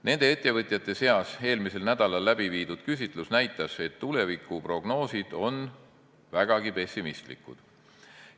Nende ettevõtjate seas eelmisel nädalal läbiviidud küsitlus näitas, et tulevikuprognoosid on vägagi pessimistlikud.